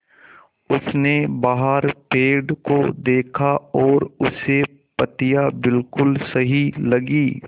उसने बाहर पेड़ को देखा और उसे उसकी पत्तियाँ बिलकुल सही लगीं